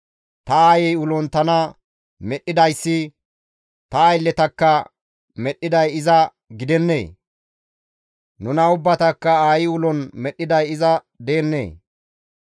Ta aayey ulon tana medhdhidayssi ta aylletakka medhdhiday iza gidennee? Nuna ubbatakka aayi ulon medhdhiday iza deennee?